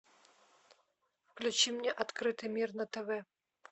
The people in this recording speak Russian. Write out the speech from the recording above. включи мне открытый мир на тв